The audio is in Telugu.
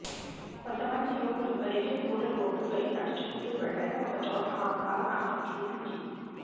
కొంతమంది యువకులు బలిజగూడ రోడ్డుపై నడుచుకుంటూ వెళ్లగా ఒకచోట ఆ కారు ఆగి కనిపించింది